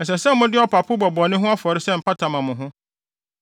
Ɛsɛ sɛ mode ɔpapo bɔ bɔne ho afɔre sɛ mpata ma mo ho.